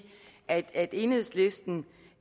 at enhedslisten